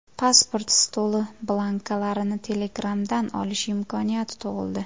Pasport stoli blankalarini Telegram’dan olish imkoniyati tug‘ildi.